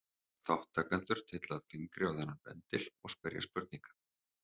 Þátttakendur tylla fingri á þennan bendil og spyrja spurninga.